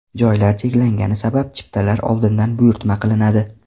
Joylar cheklangani sabab chiptalar oldindan buyurtma qilinadi.